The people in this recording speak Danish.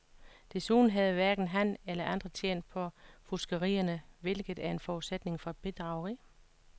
Desuden havde hverken han eller andre tjent på fuskerierne, hvilket er en forudsætning for bedrageri.